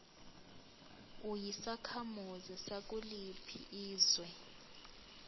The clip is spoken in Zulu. uyisakhamuzi sakuliphi izwe